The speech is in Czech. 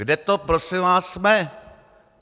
Kde to prosím vás jsme?